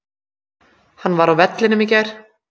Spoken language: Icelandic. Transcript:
Hann var á vellinum í gær.